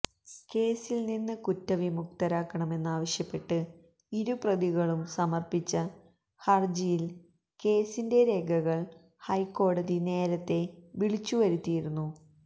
കേസില്നിന്ന് കുറ്റവിമുക്തരാക്കണമെന്നാവശ്യപ്പെട്ട് ഇരുപ്രതികളും സമര്പ്പിച്ച ഹരജിയില് കേസിന്റെ രേഖകള് ഹൈക്കോടതി നേരത്തെ വിളിച്ചുവരുത്തിയിരുന്നു